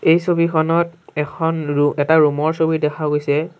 এই ছবিখনত এখন ৰো এটা ৰুম ৰ ছবি দেখা গৈছে।